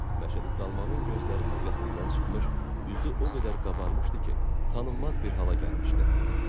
Məşədi Salmanın gözləri həlqəsindən çıxmış, üzü o qədər qabarmışdı ki, tanınmaz bir hala gəlmişdi.